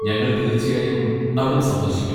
ഞങ്ങൾ തീർച്ചയായും അവിടം സന്ദർശിക്കും.